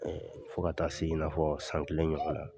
Ɛɛ fo ka taa se i nafɔ san kelen ɲɔgɔnna